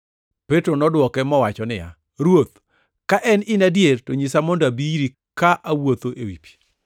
Petro nodwoke mowacho niya, “Ruoth, ka en in adier to nyisa mondo abi iri ka awuotho ewi pi.”